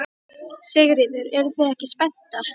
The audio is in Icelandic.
Sigríður: Eruð þið ekki spenntar?